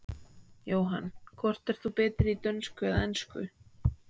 Jóhann: Hvort ert þú betri í dönsku eða ensku?